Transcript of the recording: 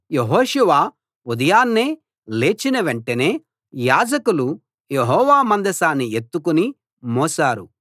యెహోషువ ఉదయాన్నే లేచిన వెంటనే యాజకులు యెహోవా మందసాన్ని ఎత్తికుని మోశారు